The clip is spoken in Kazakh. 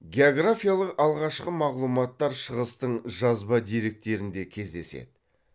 географиялық алғашқы мағлұматтар шығыстың жазба деректерінде кездеседі